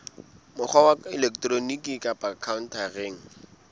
mokgwa wa elektroniki kapa khaontareng